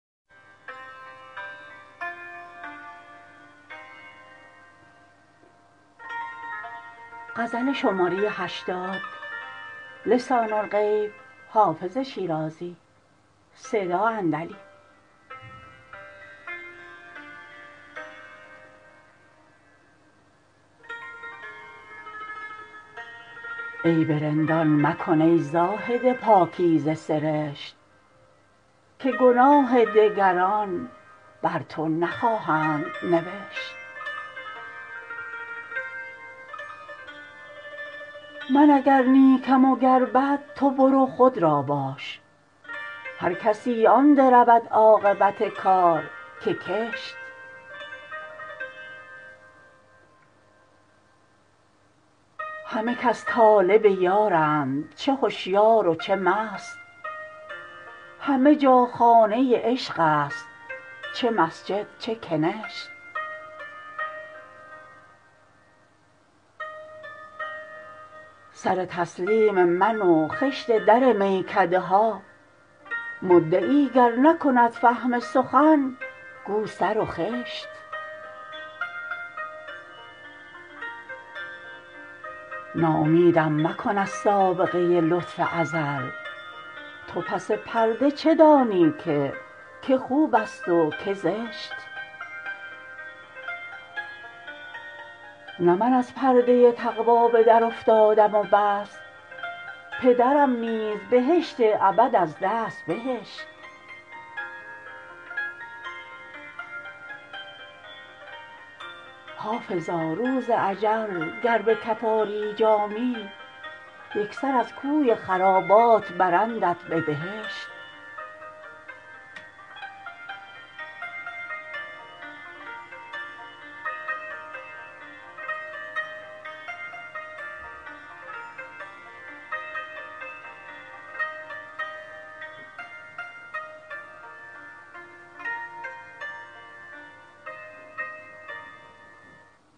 عیب رندان مکن ای زاهد پاکیزه سرشت که گناه دگران بر تو نخواهند نوشت من اگر نیکم و گر بد تو برو خود را باش هر کسی آن درود عاقبت کار که کشت همه کس طالب یارند چه هشیار و چه مست همه جا خانه عشق است چه مسجد چه کنشت سر تسلیم من و خشت در میکده ها مدعی گر نکند فهم سخن گو سر و خشت ناامیدم مکن از سابقه لطف ازل تو پس پرده چه دانی که که خوب است و که زشت نه من از پرده تقوا به درافتادم و بس پدرم نیز بهشت ابد از دست بهشت حافظا روز اجل گر به کف آری جامی یک سر از کوی خرابات برندت به بهشت